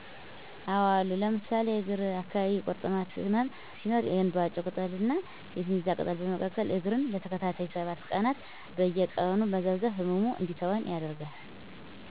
አዎ አሉ ለምሳሌ እግር አካባቢ ቂርጥማት ህመም ሲኖር የእንባጮ ቅጠል ና የሲሚዛ ቅጠል በመቀቀል እግርን ለተከታታይ 7 ቀናት በየቀኑ መዘፍዘፍ ህመሙ እንዲተወን ያደርጋል።